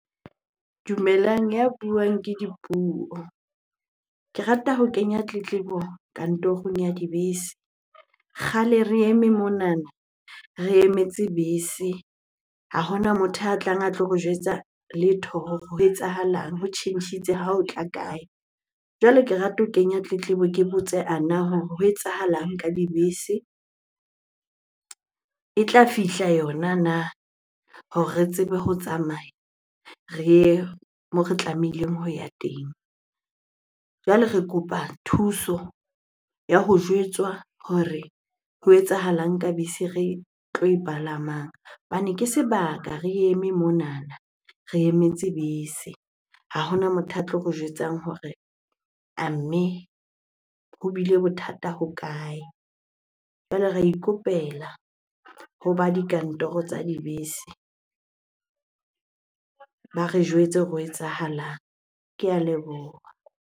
Dumelang, ya buang ke Dipuo. Ke rata ho kenya tletlebo kantorong ya dibese. Kgale re eme monana, re emetse bese. Ha hona motho a tlang a tlo re jwetsa letho hore ho etsahalang, ho tjhentjhitse ha o tla kae? Jwale ke rata ho kenya tletlebo ke botse ana hore ho etsahalang ka dibese? E tla fihla yona na hore re tsebe ho tsamaya re ye moo re tlamehileng ho ya teng? Jwale re kopa thuso ya ho jwetswa hore ho etsahalang ka bese re tlo e palamang hobane ke sebaka re eme monana re emetse bese. Ha hona motho a tlo re jwetsang hore a mme ho ile bothata ho kae? Jwale re ikopela hoba dikantoro tsa dibese ba re jwetse hore ho etsahalang? Ke a leboha.